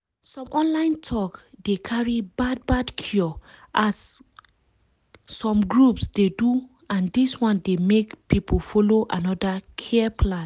some online talk dey carry bad bad cure as some groups dey do and dis one dey make people follow another care plan.